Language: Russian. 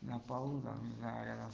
на полу заряда